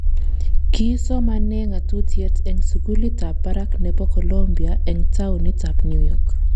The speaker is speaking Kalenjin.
Kii somanee ng'atutiet eng sukulit ab barak nebo Colombia eng taunit ab New York